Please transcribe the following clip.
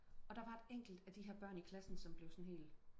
og der var et enkelt af de her børn i klassen som blev sådan helt